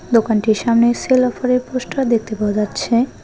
দোকানটির সামনে সেল অফারের পোস্টার দেখতে পাওয়া যাচ্ছে।